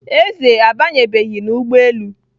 Eze abanyebeghị n'ụgbọelu